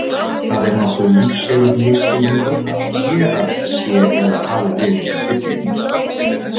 Það er nokkuð lífseigur misskilningur að þérað sé eða hafi verið í Biblíunni.